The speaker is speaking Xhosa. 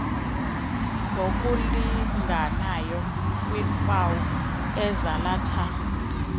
ngokulinganayo kwiimpawu ezalatha